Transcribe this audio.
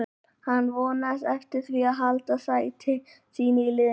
Hann vonast eftir því að halda sæti sínu í liðinu.